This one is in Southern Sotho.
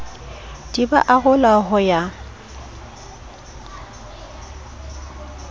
di ba arola ho ya